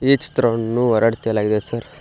ಈ ಚಿತ್ರವನ್ನು ಹೊರಡ್ ತೇಲಾಗಿದೆ ಸರ್ .